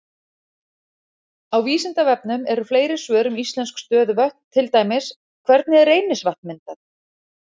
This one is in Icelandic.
Á Vísindavefnum eru fleiri svör um íslensk stöðuvötn, til dæmis: Hvernig er Reynisvatn myndað?